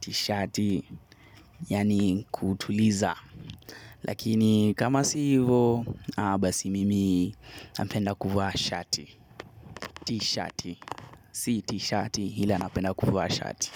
tishati yaani kuutuliza lakini kama si ivo aah basi mimi napenda kuvaa shati tishati si tishati ila napenda kuvaa shati.